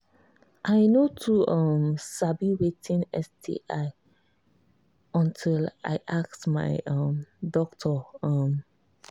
i no too um sabi watin sti until i ask my um doctor um